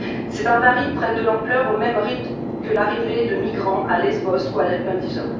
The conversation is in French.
Ces barbaries prennent de l'ampleur au même rythme que l'arrivée de migrants à Lesbos ou à Lampedusa.